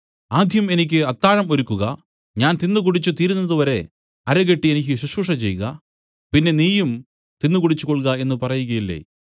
ആദ്യം എനിക്ക് അത്താഴം ഒരുക്കുക ഞാൻ തിന്നുകുടിച്ചു തീരുന്നത് വരെ അരകെട്ടി എനിക്ക് ശുശ്രൂഷചെയ്ക പിന്നെ നീയും തിന്നു കുടിച്ചുകൊൾക എന്ന് പറയുകയില്ലേ